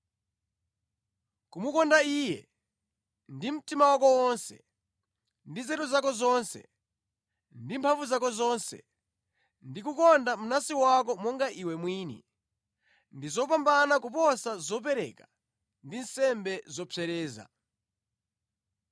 Kumukonda Iye; ndi mtima wako wonse, ndi nzeru zako zonse, ndi mphamvu zako zonse, ndi kukonda mnansi wako monga iwe mwini, ndi zopambana kuposa zopereka ndi nsembe zopsereza.”